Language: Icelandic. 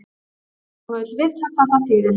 Hún vill vita hvað það þýðir.